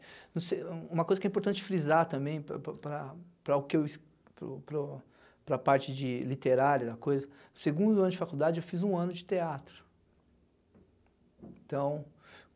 não sei. Uma coisa que é importante frisar também para para para para para o para o para a parte literária da coisa, no segundo ano de faculdade fiz um ano de teatro. Então